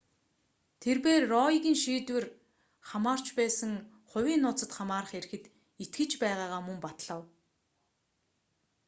тэрбээр роегийн шийдвэр хамаарч байсан хувийн нууцад хамаарах эрхэд итгэж байгаагаа мөн батлав